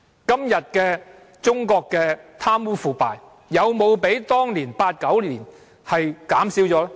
今天中國的貪污腐敗，有沒有比1989年減少？